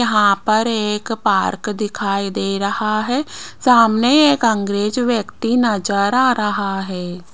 यहां पर एक पार्क दिखाई दे रहा है सामने एक अंग्रेज व्यक्ति नजर आ रहा है।